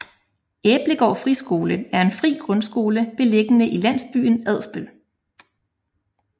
Æblegård Friskole er en fri grundskole beliggende i landsbyen Adsbøl